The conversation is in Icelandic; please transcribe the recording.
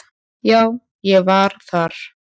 Já, ég var þar.